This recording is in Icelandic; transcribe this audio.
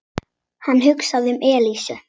Hann hugsaði um Elísu.